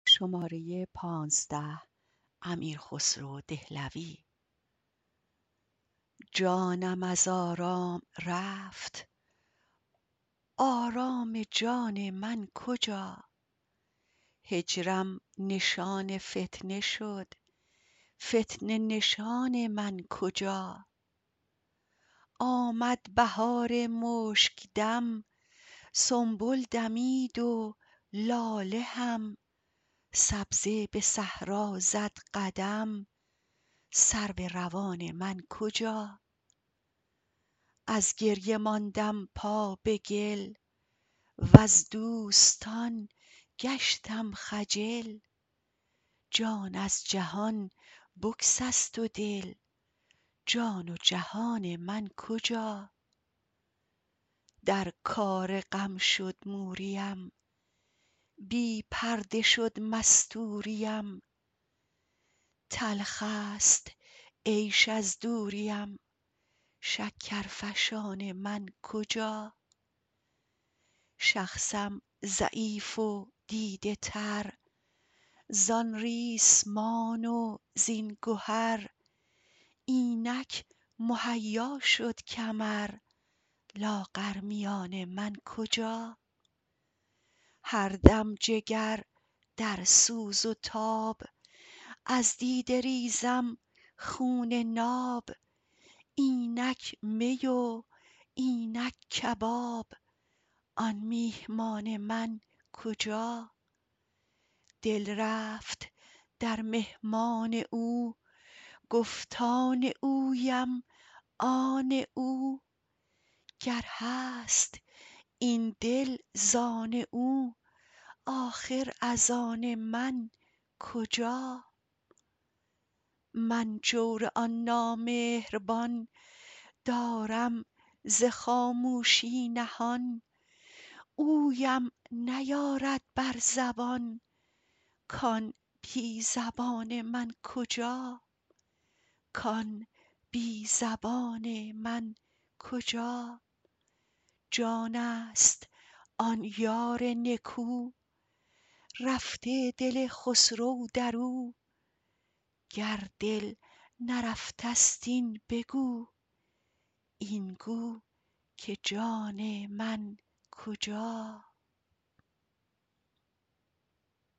جانم از آرام رفت آرام جان من کجا هجرم نشان فتنه شد فتنه نشان من کجا آمد بهار مشک دم سنبل دمید و لاله هم سبزه به صحرا زد قدم سرو روان من کجا از گریه ماندم پا به گل وز دوستان گشتم خجل جان از جهان بگسست و دل جان و جهان من کجا در کار غم شد موریم بی پرده شد مستوریم تلخ است عیش از دوریم شکرفشان من کجا شخصم ضعیف و دیده تر زان ریسمان و زین گهر اینک مهیا شد کمر لاغر میان من کجا هر دم جگر در سوز و تاب از دیده ریزم خون ناب اینک می و اینک کباب آن میهمان من کجا دل رفت در مهمان او گفت آن اویم آن او گر هست این دل زان او آخر از آن من کجا من جور آن نامهربان دارم ز خاموشی نهان اویم نیارد بر زبان کان بی زبان من کجا جان است آن یار نکو رفته دل خسرو در او گر دل نرفته است این بگو این گو که جان من کجا